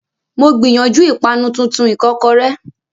Mo gbìyànjú ìpanu tuntun ìkọ́kọrẹ́.